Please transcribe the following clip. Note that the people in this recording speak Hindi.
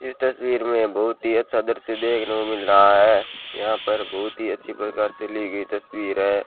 इस तस्वीर में बहुत ही अच्छा दृश्य देखने को मिल रहा है यहां पर बहुत ही अच्छी प्रकार से ली गई तस्वीर है।